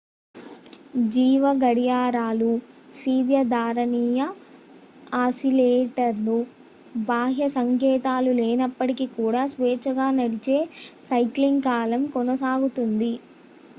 జీవ గడియారాలు స్వీయ ధారణీయ ఆసిలేటర్లు బాహ్య సంకేతాలు లేనప్పటికీ కూడా స్వేచ్ఛగా నడిచే సైక్లింగ్ కాలం కొనసాగుతుంది